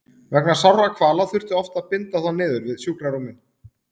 Vegna sárra kvala þurfti oft að binda þá niður við sjúkrarúmin.